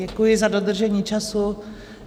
Děkuji za dodržení času.